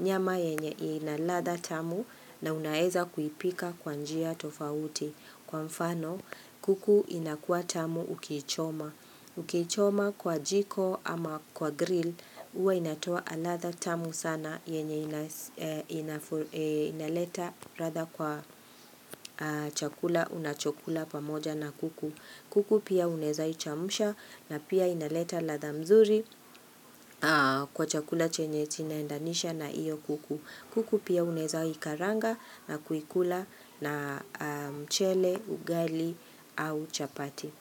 nyama yenye ina ladha tamu na unaweza kuipika kwa njia tofauti. Kwa mfano, kuku inakua tamu ukichoma. Ukichoma kwa jiko ama kwa grill, huwa inatoa ladha tamu sana yenye inaleta ladha kwa chakula, unachokula pamoja na kuku. Kuku pia unaweza ichemsha na pia inaleta ladha mzuri kwa chakula chenye kinaendanisha na hio kuku kuku pia unaweza ikaranga na kuikula na mchele, ugali au chapati.